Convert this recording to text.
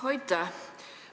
Aitäh!